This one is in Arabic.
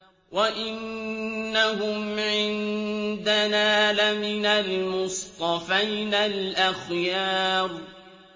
وَإِنَّهُمْ عِندَنَا لَمِنَ الْمُصْطَفَيْنَ الْأَخْيَارِ